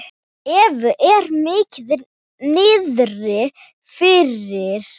Evu er mikið niðri fyrir.